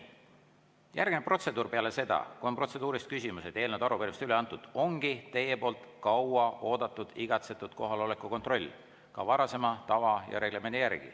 Järgmine protseduur peale seda, kui protseduurilised küsimused on ning eelnõud ja arupärimised üle antud, ongi teie poolt kauaoodatud, igatsetud kohaloleku kontroll, ka varasema tava ja reglemendi järgi.